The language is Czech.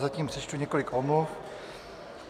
Zatím přečtu několik omluv.